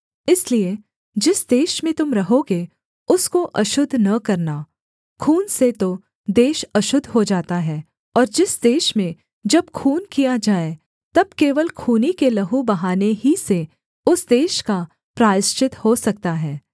इसलिए जिस देश में तुम रहोगे उसको अशुद्ध न करना खून से तो देश अशुद्ध हो जाता है और जिस देश में जब खून किया जाए तब केवल खूनी के लहू बहाने ही से उस देश का प्रायश्चित हो सकता है